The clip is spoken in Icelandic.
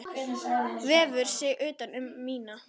Vefur sig utan um mína.